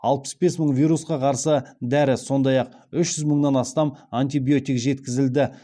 алпыс бес мың вирусқа қарсы дәрі сондай ақ үш жүз мыңнан астам антибиотик жеткізілді